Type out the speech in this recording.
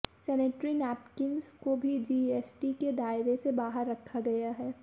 sanitary napkins को भी GST के दायरे से बाहर रखा गया है